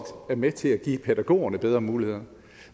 med til at give pædagogerne bedre muligheder